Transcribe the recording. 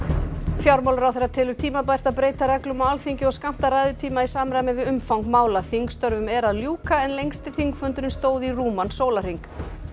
fjármálaráðherra telur tímabært að breyta reglum á Alþingi og skammta ræðutíma í samræmi við umfang mála þingstörfum er að ljúka en lengsti þingfundurinn stóð í rúman sólarhring